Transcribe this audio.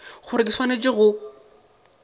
ke gore o swanetše go